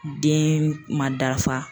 Den ma dafa.